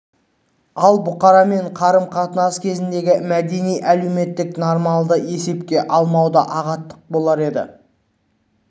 ал бұқарамен қарым-қатынас кезіндегі мәдени-әлеуметтік нормаларды есепке алмау да ағаттық болар еді